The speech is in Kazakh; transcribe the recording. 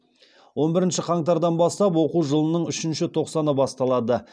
он бірінші қаңтардан бастап оқу жылының үшінші тоқсаны басталады